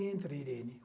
Entra, Irene.